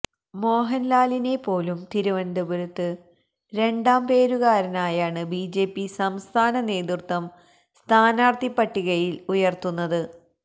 മോഹൻലാലിനെ പോലും തിരുവനന്തപുരത്ത് രണ്ടാം പേരുകാരനായാണ് ബിജെപി സംസ്ഥാന നേതൃത്വം സ്ഥാനാർത്ഥി പട്ടികയിൽ ഉയർത്തുന്നത്